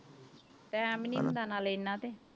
Time ਨੀ ਹੁੰਦਾ ਨਾਲੇ ਇੰਨਾ ਤੇ।